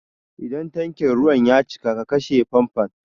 Idan tankin ruwan ya cika ki kashe famfon!